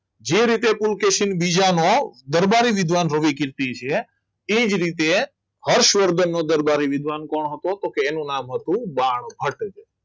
જે રીતે પુલકેશી બીજાનો દરબારી વિધવાન ભવ્ય કીર્તિ છે એ જ રીતે હર્ષવર્ધન દરદારી વિદ્વાન કોણ હતો તો કે એનું નામ હતું બાણભટ્ટ